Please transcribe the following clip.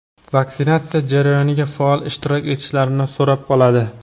vaksinatsiya jarayoniga faol ishtirok etishlarini so‘rab qoladi.